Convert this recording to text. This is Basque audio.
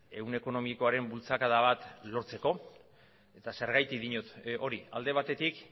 ehun ekonomikoaren bultzakada bat lortzeko eta zergatik diot hori alde batetik